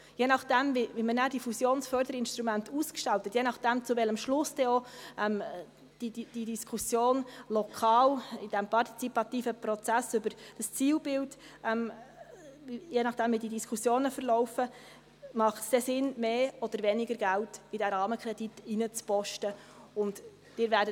Je nachdem, wie man nachher die Fusionsförderinstrumente ausgestalten, je nachdem, zu welchem Schluss dann auch die lokalen Diskussionen im partizipativen Prozess über das Zielbild verlaufen, macht es dann Sinn, mehr oder weniger Geld in diesen Rahmenkredit zu stecken.